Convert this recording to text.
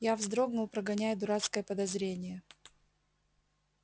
я вздрогнул прогоняя дурацкое подозрение